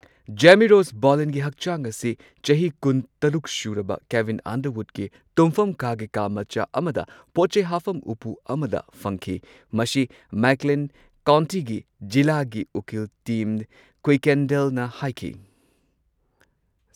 ꯖꯦꯃꯤ Ross ꯕꯣꯂꯤꯟꯒꯤ ꯍꯛꯆꯥꯡ ꯑꯁꯤ ꯆꯍꯤ ꯀꯨꯟꯇꯔꯨꯛ ꯁꯨꯔꯕ ꯀꯦꯕꯤꯟ ꯑꯟꯗꯔꯋꯨꯗꯀꯤ ꯇꯨꯝꯐꯝ ꯀꯥꯒꯤ ꯀꯥ ꯃꯆꯥ ꯑꯃꯗ ꯄꯣꯠ ꯆꯩ ꯍꯥꯞꯐꯝ ꯎꯄꯨ ꯑꯃꯗ ꯐꯪꯈꯤ꯫ ꯃꯁꯤ ꯃꯦꯛꯀ꯭ꯂꯦꯟ ꯀꯥꯎꯟꯇꯤꯒꯤ ꯖꯤꯂꯥꯒꯤ ꯎꯀꯤꯜ ꯇꯤꯝ ꯀꯨꯏꯀꯦꯟꯗꯦꯜꯅ ꯍꯥꯏꯈꯤ꯫